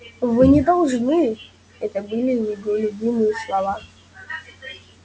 вы не должны это были его любимые слова